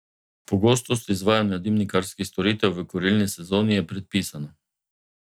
Pogostost izvajanja dimnikarskih storitev v kurilni sezoni je predpisana.